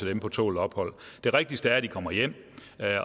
dem på tålt ophold det rigtigste er at de kommer hjem